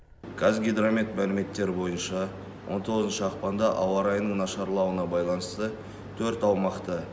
қазгидромет мәліметтері бойынша он тоғызыншы ақпанда ауа райының нашарлауына байланысты төрт аумақта